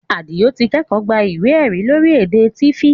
Àdìó ti kẹ́kọ̀ọ́ gba ìwé ẹ̀rí lórí èdè Tiv